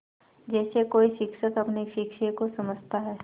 जैसे कोई शिक्षक अपने शिष्य को समझाता है